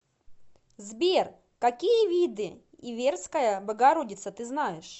сбер какие виды иверская богородица ты знаешь